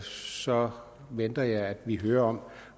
så venter jeg at vi hører om